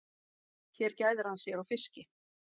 Hér gæðir hann sér á fiski.